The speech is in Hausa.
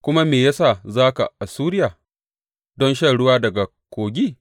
Kuma me ya sa za ka Assuriya don shan ruwa daga Kogi?